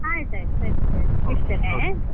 ಆಯ್ತ್ ಆಯ್ತ್, ಸರಿ ಸರಿ ಇಡ್ತೇನೆ.